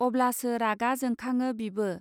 अब्लासो रागा जोंखाङो बिबो